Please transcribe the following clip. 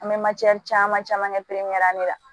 An bɛ caman caman ne la